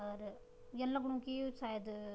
अर यन लगणु की यु सायद --